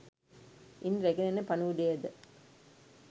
ඉන් රැගෙන යන පණිවුඩයද